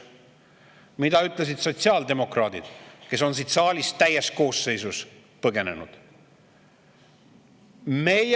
Mida ütlesid sotsiaaldemokraadid, kes on siit saalist täies koosseisus põgenenud?